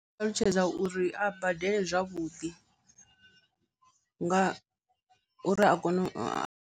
Ndi ngamu ṱalutshedza uri a badele zwavhuḓi nga uri a kone u a.